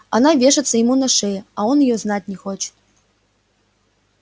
она вешается ему на шею а он её знать не хочет